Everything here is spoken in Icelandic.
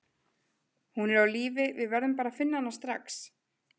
Hún er á lífi, við verðum bara að finna hana strax.